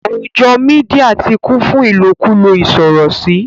àwùjọ media ti kún fún ilokulo isorosi.